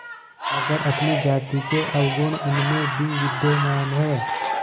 मगर अपनी जाति के अवगुण उनमें भी विद्यमान हैं